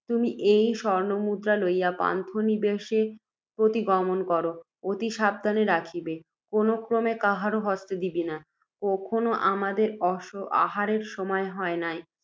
তুমি এই স্বর্ণমুদ্রা লইয়া পান্থনিবাসে প্রতিগমন কর, অতি সাবধানে রাখিবে, কোনও ক্রমে কাহারও হস্তে দিবে না। এখনও আমাদের আহারের সময় হয় নাই,